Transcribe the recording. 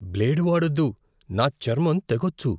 Blade వాడొద్దు. నా చర్మం తెగొచ్చు.